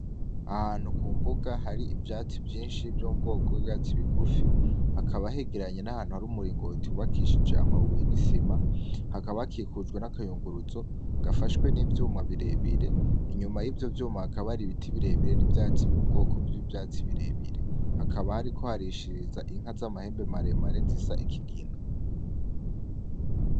Ahantu ku mvuga hari ivyatsi vyinshi vyo mu bwoko bw'ivyatsi bigufi ,hakaba hegeranye n'ahantu hari umuringoti w'ubakishije amabuye n'isima, hakaba kakikujwe n'akayunguruzo gafashwe n'ivyuma birebire, inyuma yivyo vyuma hakaba hari ibiti birebire, hakaba hariko harishiriza inka z'amahembe maremare zisa kigina.